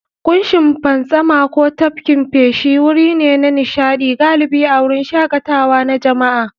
Kushin fantsama ko tafkin feshi wuri ne na nishaɗi, galibi a wurin shakatawa na jama'a.